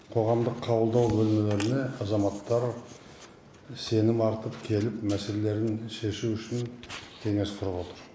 қоғамдық қабылдау бөлмелеріне азаматтар сенім артып келіп мәселелерін шешу үшін кеңес құрып отыр